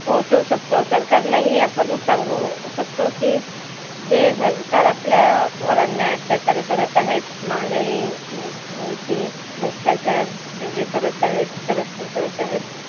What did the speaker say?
पोहचवू शकतो. सरकारला ही आपण सांगू शकतो की जे सरकार आपल्या अन्याय अत्याचार करत आहेत महागाई भ्रष्टाचार ते जे करत आहेत. corruption करत आहेत